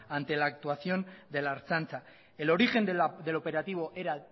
ante la actuación de la ertzaintza el origen del operativo era